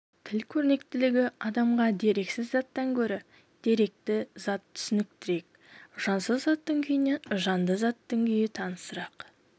тіл көрнектілігі адамға дерексіз заттан гөрі деректі зат түсініктірек жансыз заттың күйінен жанды заттың күйі танысырақ